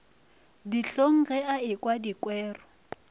dihlong ge a ekwa dikwero